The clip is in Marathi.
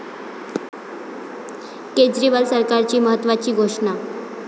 केजरीवाल सरकारची महत्त्वाची घोषणा